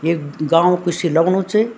ये गाँव कुसी लगणु च।